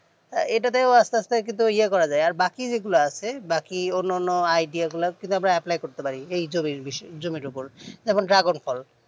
এটা তেও আস্তে আস্তে কিন্তু ইয়ে করা যাই আর বাকি যেগুলা আছে বাকি অন্য অন্য idea গীলা কিভাবে apply করতে পারি এই জমির বিষয় এই জমির ওপর যেমন dragon ফল